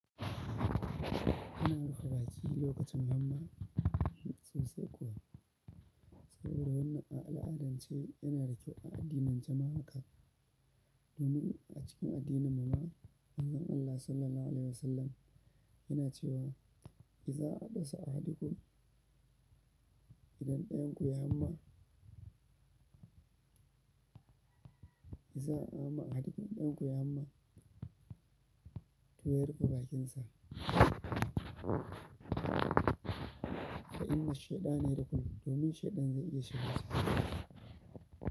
Ana buga wasan lokacin nan ma sosai kuwa saboda wannan al'adansu shi yana da kyau a addinance ma haka domin a cikin addinin mu ma Manzon Allah Sallallahu alaihi Wasallama yana cewa iza adasa ahdikum idan ɗayan ku ya ma "Iza a dasa a hadukum idan ɗayan ku yayi hamma to ya rufe bakinsa fa inna shaiɗani yadkulun domin ahaiɗan ze iya shiga.